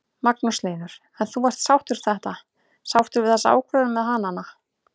Magnús Hlynur: En þú ert sáttur þetta, sáttur við þessa ákvörðun með hanana?